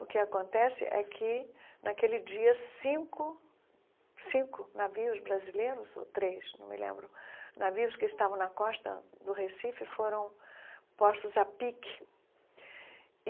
O que acontece é que, naquele dia, cinco cinco navios brasileiros, ou três, não me lembro, navios que estavam na costa do Recife, foram postos a pique e.